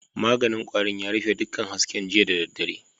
Maganin kwarin ya rufe dukkan hasken jiya da daddare.